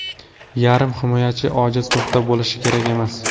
Yarim himoyachida ojiz nuqta bo‘lishi kerak emas.